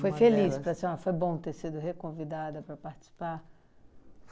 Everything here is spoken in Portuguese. Foi feliz para a senhora, foi bom ter sido reconvidada para participar?